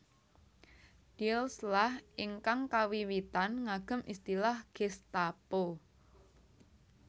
Diels lah ingkang kawiwitan ngagem istilah Gestapo